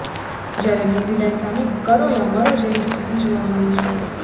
જ્યારે ન્યુઝીલેન્ડ પાસે કરો યા મરો જેવી સ્થિતિ જોવા મળી છે